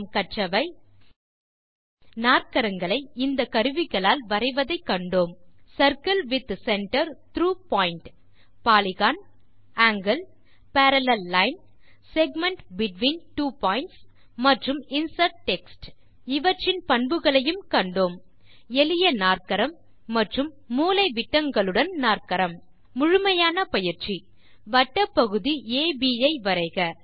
இந்த பாடத்தில் நாற்கரங்களை இந்த கருவிகளால் வரைவதை கண்டோம் circle with centre through point polygon angle parallel line segment between two pointகள் மற்றும் இன்சர்ட் டெக்ஸ்ட் இவற்றின் பண்புகளையும் கண்டோம் எளிய நாற்கரம் மற்றும் மூலைவிட்டங்களுடன் நாற்கரம் முழுமையான பயிற்சி வட்டப்பகுதி அப் ஐ வரைக